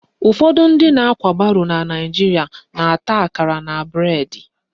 Ụfọdụ ndị na-akwa baro na Naijiria na-eta akara na bụredi